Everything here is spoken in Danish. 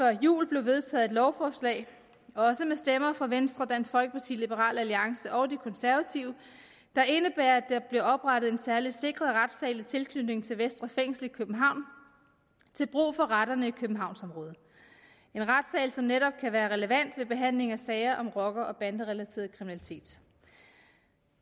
jul blev vedtaget et lovforslag også med stemmer fra venstre dansk folkeparti liberal alliance og de konservative der indebærer at der bliver oprettet en særlig sikret retssal i tilknytning til vestre fængsel i københavn til brug for retterne i københavnsområdet en retssal som netop kan være relevant ved behandling af sager om rocker og banderelateret kriminalitet